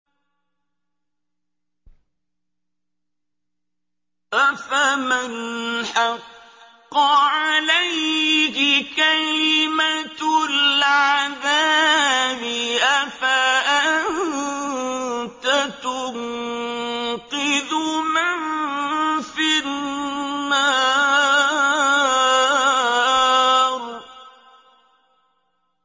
أَفَمَنْ حَقَّ عَلَيْهِ كَلِمَةُ الْعَذَابِ أَفَأَنتَ تُنقِذُ مَن فِي النَّارِ